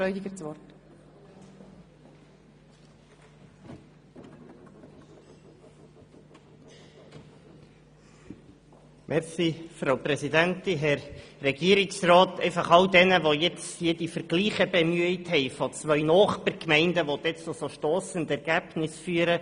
Zu all jenen, die jetzt Vergleiche betreffend Nachbargemeinden bemüht haben, die dann zu stossenden Ergebnissen führen: